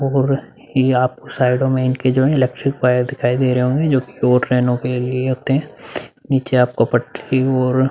ये आपको साइडो में इनके जो है इलेक्ट्रिक वायर दिखाई दे रहे होंगे जो कि दो ट्रेनों के लिए होते है नीचे आपको पटरी और --